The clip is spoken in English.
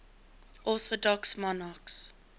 orthodox monarchs